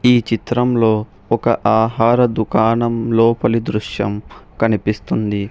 ఈ చిత్రంలో ఒక ఆహార దుకాణం లోపలి దృశ్యం కనిపిస్తుంది.